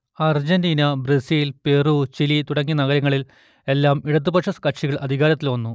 Argentina Brazil Peru Chile തുടങ്ങിയ നഗരങ്ങളിൽ എല്ലാം ഇടതുപക്ഷ കക്ഷികൾ അധികാരത്തിൽ വന്നു